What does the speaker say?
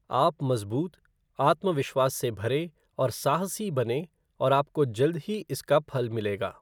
आप मजबूत, आत्मविश्वास से भरे और साहसी बनें और आपको जल्द ही इसका फल मिलेगा।